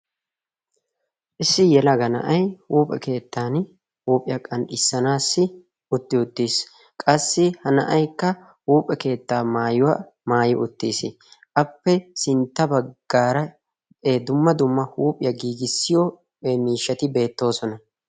issi yelaga na'ay huuphe keettan huuphiyaa qan'issanaassi utti uttiis qassi ha na'aikka huuphe keettaa maayuwaa maayo uttiis. appe sintta baggaara e dumma dumma huuphiyaa giigissiyo miishshati beettoosona.